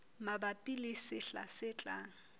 mabapi le sehla se tlang